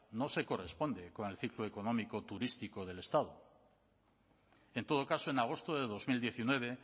no se corresponde con el ciclo económico turístico del estado en todo caso en agosto de dos mil diecinueve